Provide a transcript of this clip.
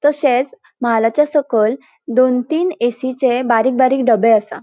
तशेच महालाच्या सकयल दोन तीन ऐ.सी.चे बारीक बारीक डबे असा.